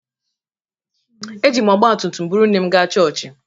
Eji m ọgbatumtum buru nne m gaa chọọchị